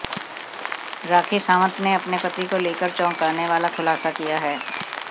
राखी सावंत ने अपने पति को लेकर चौंकाने वाला खुलासा किया है